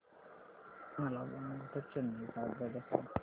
मला बंगळुरू ते चेन्नई च्या आगगाड्या सांगा